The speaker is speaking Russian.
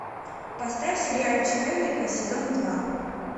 поставь сериальчик эврика сезон два